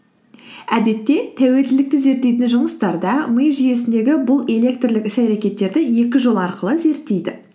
әдетте тәуелділікті зерттейтін жұмыстарда ми жүйесіндегі бұл элетрлік іс әрекеттерді екі жол арқылы зерттейді